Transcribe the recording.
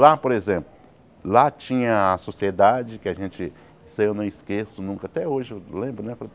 Lá, por exemplo, lá tinha a Sociedade, que a gente... isso aí eu não esqueço nunca, até hoje eu lembro, né?